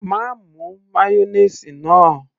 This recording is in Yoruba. má mu mayonnaise náà